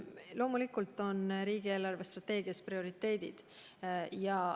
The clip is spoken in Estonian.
Loomulikult on riigi eelarvestrateegias prioriteedid.